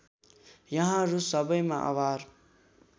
यहाँहरू सबैमा आभार